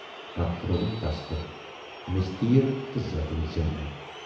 پتہٕ ترووُن تَس پٮ۪ٹھ میژِتیٖل تہٕ زٲجِن زِندَے۔